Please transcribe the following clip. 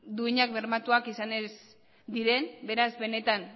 duinak bermatuak izan ez diren beraz benetan